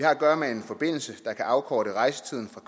at gøre med en forbindelse der kan afkorte rejsetiden fra